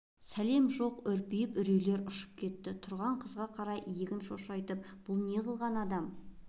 сәлем жоқ үрпиісіп үрейлер ұшып кетті тұрған қызға қарай иегін шошайтты бұл неғылған адам